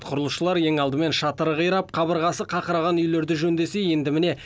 құрылысшылар ең алдымен шатыры қирап қабырғасы қақыраған үйлерді жөндесе енді міне